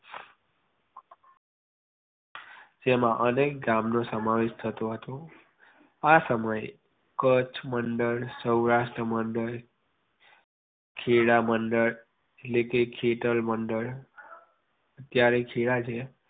જેમાં અનેક ગામનો સમાવેશ થતો હતો. આ સમયે કચ્છ મંડળ સૌરાષ્ટ્ર મંડળ ખેડા મંડળ એટલે કે ખેડલ મંડળ જ્યારે છેલાજી